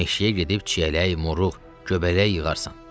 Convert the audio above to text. Meşəyə gedib çiyələk, moruq, göbələk yığarsan.